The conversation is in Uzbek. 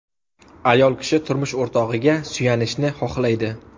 Ayol kishi turmush o‘rtog‘iga suyanishni xohlaydi.